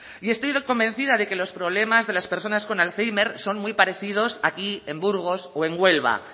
y estoy convencida de que los problemas de las personas con alzhéimer son muy parecidos aquí en burgos o en huelva